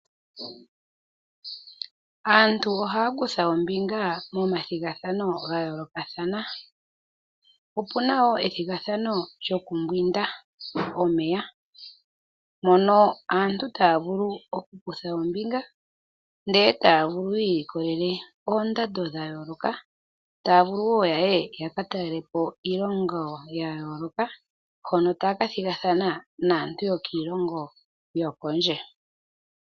Aantu ohaya kutha ombinga momathigathano ga yoolokathana. Opu na wo ethigathano lyokumbwinda omeya mono aantu taya vulu okukutha ombinga e taya vulu yi ilikolele oondando dha yooloka e taya vulu wo ya ka talele po iilongo yea yooloka hono taya ka thigathana naantu yokiilongo yokondje.